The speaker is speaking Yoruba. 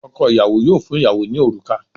Ọkọ ìyàwó yóò fún ìyàwó ní òrùka